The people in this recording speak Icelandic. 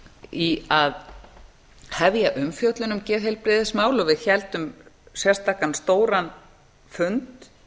í að hefja umfjöllun um geðheilbrigðismál og við héldum sérstakan stóran fund